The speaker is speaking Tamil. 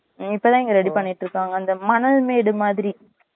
இப்பதான் இங்க ready பண்ணிட்டு இருக்காங்க அந்த மணல் மேடு மாதிரி